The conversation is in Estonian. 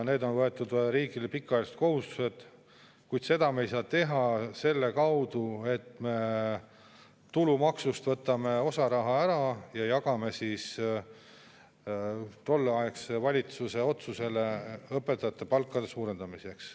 See on riigi võetud pikaajaline kohustus, ent me ei saa seda teha sel, et me tulumaksust võtame osa raha ära ja jagame tolleaegse valitsuse otsuse õpetajate palkade suurendamiseks.